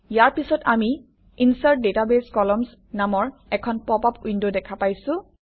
ইয়াৰ পিছত আমি insert database columns নামৰ এখন পপআপ উইণ্ড দেখা পাইছোঁ